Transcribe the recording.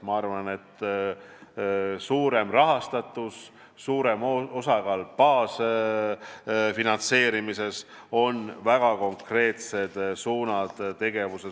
Ma arvan, et suurem rahastatus, suurem osakaal baasfinantseerimises on väga konkreetne tegevus.